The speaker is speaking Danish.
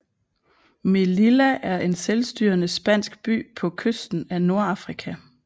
Melilla er en selvstyrende spansk by på kysten af Nordafrika